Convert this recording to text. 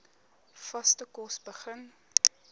vaste kos begin